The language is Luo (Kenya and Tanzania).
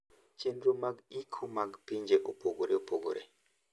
Chenro mag iko mag pinje opogore opogore.